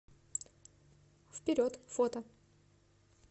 вперед фото